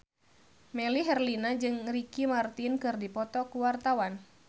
Melly Herlina jeung Ricky Martin keur dipoto ku wartawan